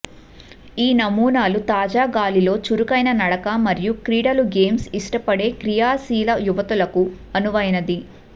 ఈ నమూనాలు తాజా గాలిలో చురుకైన నడక మరియు క్రీడలు గేమ్స్ ఇష్టపడే క్రియాశీల యువతులకి అనువైనవి